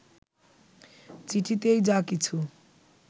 চিঠিতেই যা কিছু